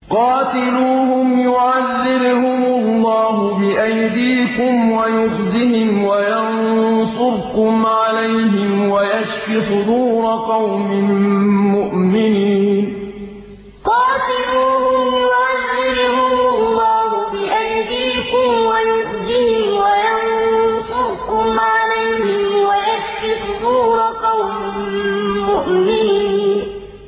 قَاتِلُوهُمْ يُعَذِّبْهُمُ اللَّهُ بِأَيْدِيكُمْ وَيُخْزِهِمْ وَيَنصُرْكُمْ عَلَيْهِمْ وَيَشْفِ صُدُورَ قَوْمٍ مُّؤْمِنِينَ قَاتِلُوهُمْ يُعَذِّبْهُمُ اللَّهُ بِأَيْدِيكُمْ وَيُخْزِهِمْ وَيَنصُرْكُمْ عَلَيْهِمْ وَيَشْفِ صُدُورَ قَوْمٍ مُّؤْمِنِينَ